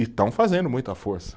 E estão fazendo muita força.